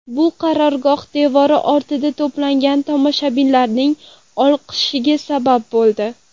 Bu qarorgoh devori ortida to‘plangan tomoshabinlarning olqishiga sabab bo‘ldi.